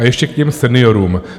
A ještě k těm seniorům.